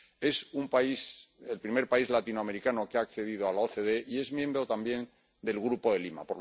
es el primer país latinoamericano que ha accedido a la OCDE y es miembro también del Grupo de Lima.